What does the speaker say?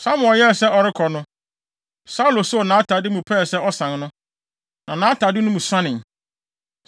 Samuel yɛɛ sɛ ɔrekɔ no, Saulo soo nʼatade mu pɛɛ sɛ ɔsan no, na atade no mu suanee.